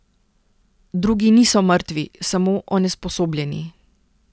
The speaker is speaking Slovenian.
Drugi niso mrtvi, samo onesposobljeni.